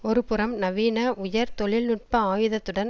ஒரு புறம் நவீன உயர் தொழில் நுட்ப ஆயுதத்துடன்